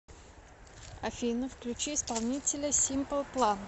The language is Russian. афина включи исполнителя симпл план